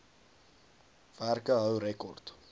werke hou rekord